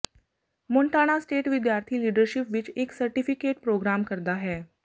Montana State ਵਿਦਿਆਰਥੀ leadership ਵਿਚ ਇਕ ਸਰਟੀਫਿਕੇਟ ਪ੍ਰੋਗਰਾਮ ਕਰਦਾ ਹੈ